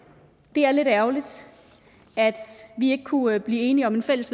det er lidt ærgerligt at vi ikke kunne blive enige om et fælles